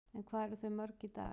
En hvað eru þau mörg í dag?